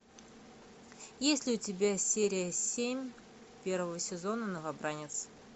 есть ли у тебя серия семь первого сезона новобранец